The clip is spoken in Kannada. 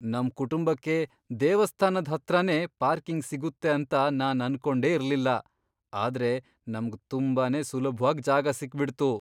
ನಮ್ ಕುಟುಂಬಕ್ಕೆ ದೇವಸ್ಥಾನದ್ ಹತ್ರನೇ ಪಾರ್ಕಿಂಗ್ ಸಿಗುತ್ತೆ ಅಂತ ನಾನ್ ಅನ್ಕೊಂಡೆ ಇರ್ಲಿಲ್ಲ, ಆದ್ರೆ ನಮ್ಗ್ ತುಂಬಾನೇ ಸುಲಭ್ವಾಗ್ ಜಾಗ ಸಿಕ್ಬಿಡ್ತು.